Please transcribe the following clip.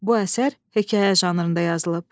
Bu əsər hekayə janrında yazılıb.